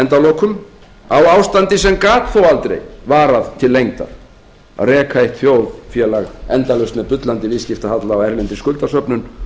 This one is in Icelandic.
endalokum á ástandi sem gat þó aldrei varað til lengdar að reka eitt þjóðfélag endalaust með bullandi viðskiptahalla og erlendri skuldasöfnun